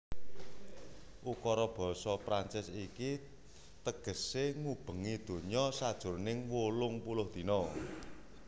Ukara basa Prancis iki tegesé Ngubengi Donya sajroning wolung puluh Dina